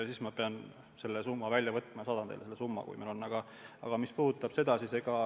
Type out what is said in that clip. Pean selle välja otsima ja saadan teile, kui see meil teada on.